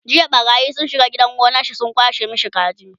jiya ɓarayi sun shiga gidan gonansa sun kwashe masa kaji